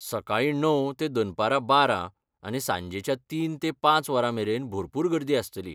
सकाळीं णव ते दनपरां बारा, आनी सांजेच्या तीन ते पांच वरां मेरेन भरपूर गर्दी आसतली.